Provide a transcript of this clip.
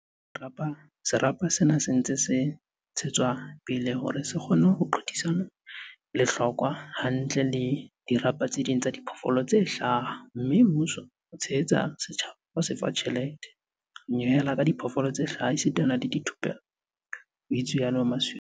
"Serapa sena se ntse se ntshe tswa pele hore se kgone ho qothisana lehlokwa hantle le dirapa tse ding tsa diphoofolo tse hlaha mme mmuso o tshehetsa setjhaba ka ho se fa tjhelete, ho nyehela ka diphoofolo tse hlaha esita le thupello," ho itsalo Masualle.